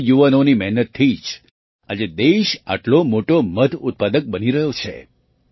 આવા યુવાનોની મહેનતથી જ આજે દેશ આટલો મોટો મધ ઉત્પાદક બની રહ્યો છે